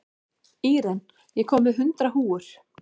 Íren, ég kom með hundrað húfur!